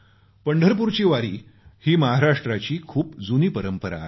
पंढरपूरची वारी ही महाराष्ट्राची खूप जुनी परंपरा आहे